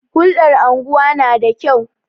Hulɗar unguwa na da kyau.